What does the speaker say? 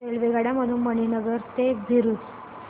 रेल्वेगाड्यां मधून मणीनगर ते भरुच